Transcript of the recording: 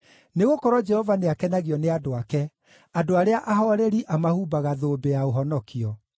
Nĩgũkorwo Jehova nĩakenagio nĩ andũ ake; andũ arĩa ahooreri amahumbaga thũmbĩ ya ũhonokio.